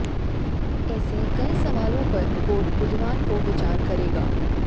ऐसे कई सवालों पर कोर्ट बुधवार को विचार करेगा